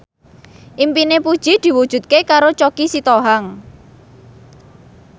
impine Puji diwujudke karo Choky Sitohang